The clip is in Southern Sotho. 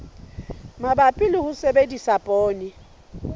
mabapi le ho sebedisa poone